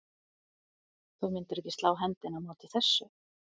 Þú myndir ekki slá hendinni á móti þessu?